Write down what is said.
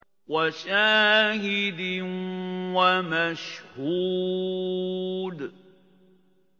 وَشَاهِدٍ وَمَشْهُودٍ